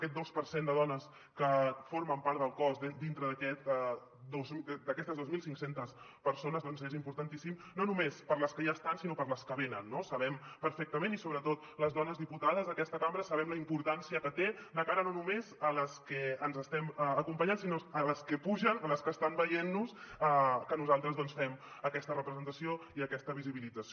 aquest dos per cent de dones que formen part del cos dintre d’aquestes dos mil cinc cents persones doncs és importantíssima no només per a les que ja hi són sinó per a les que venen no sabem perfectament i sobretot les dones diputades a aquesta cambra la importància que té de cara no només a les que ens estem acompanyant sinó a les que pugen a les que estan veient·nos que nosaltres fem aquesta representació i aquesta visibilització